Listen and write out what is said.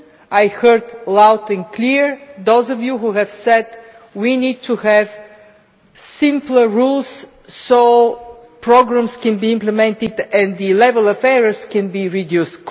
I heard loud and clear those of you who said that we need to have simpler rules so that programmes can be implemented and the level of errors can be reduced.